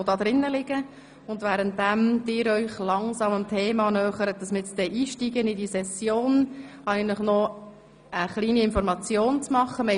Vorhin haben wir davon gehört, dass zwei Bébés zur Welt gekommen sind.